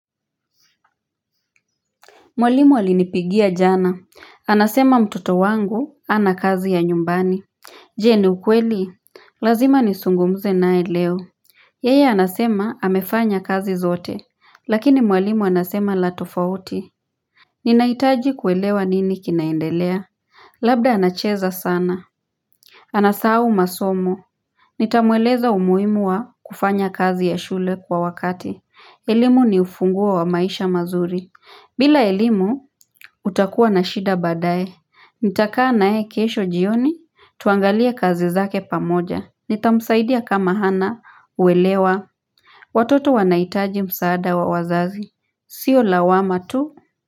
Mwalimu alinipigia jana, anasema mtoto wangu hana kazi ya nyumbani Je ni ukweli, lazima nizungumze nae leo Yeye anasema amefanya kazi zote, lakini mwalimu anasema la tofauti Ninahitaji kuelewa nini kinaendelea Labda anacheza sana Anasahau masomo Nitamweleza umuhimu wa kufanya kazi ya shule kwa wakati, elimu ni ufunguo wa maisha mazuri bila elimu, utakua na shida baadae. Nitakaa nae kesho jioni, tuangalie kazi zake pamoja. Nitamsaidia kama hana, uelewa. Watoto wanahitaji msaada wa wazazi. Sio lawama tu.